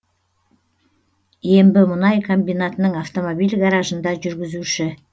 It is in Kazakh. ембімұнай комбинатының автомобиль гаражында жүргізуші